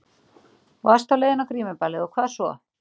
Þú varst á leiðinni á grímuballið og hvað svo?